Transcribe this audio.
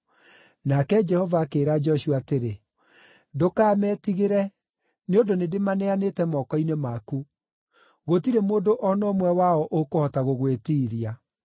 Nake Jehova akĩĩra Joshua atĩrĩ, “Ndũkametigĩre, nĩ ũndũ nĩndĩmaneanĩte moko-inĩ maku. Gũtirĩ mũndũ o na ũmwe wao ũkũhota gũgwĩtiiria.”